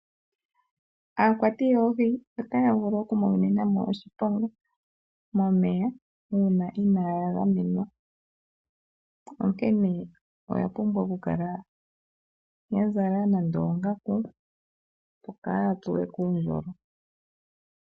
Aakwati yoohi otaya vulu okumonena mo oshiponga momeya, uuna inaaya gamenwa. Onkene oya pumbwa okukala ya zala nande oongaku, opo kaaya tsuwe kuundjolo.